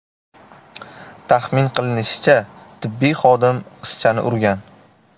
Taxmin qilinishicha, tibbiy xodim qizchani urgan.